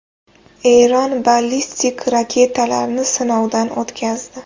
Eron ballistik raketalarni sinovdan o‘tkazdi.